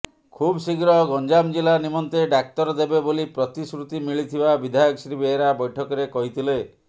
ଖୁବଶ୍ରୀଘ୍ର ଗଂଜାମ ଜିଲ୍ଲା ନିମନ୍ତେ ଡାକ୍ତର ଦେବେ ବୋଲି ପ୍ରତିଶୃତି ମିଳିଥିବା ବିଧାୟକ ଶ୍ରୀ ବେହେରା ବୈଠକରେ କହିଥିଲେ